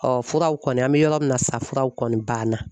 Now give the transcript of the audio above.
furaw kɔni, an bɛ yɔrɔ min na sa ,furaw kɔni banna